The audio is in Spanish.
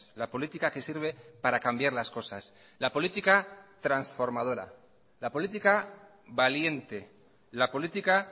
la política que sirve para cambiar las cosas la política transformadora la política valiente la política